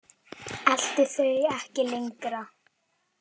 Elti þau ekki lengra.